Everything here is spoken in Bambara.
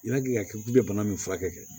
I y'a k'i ka k'i bɛ bana min furakɛ